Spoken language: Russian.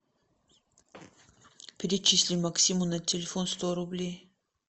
перечисли максиму на телефон сто рублей